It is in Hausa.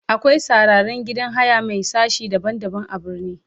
akwai sarraren gidan haya Mai sashi daban daban a birni.